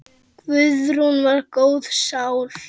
Guðrún var góð sál.